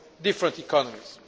our different economies.